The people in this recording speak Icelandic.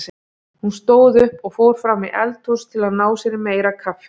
Hún stóð upp og fór fram í eldhús að ná sér í meira kaffi.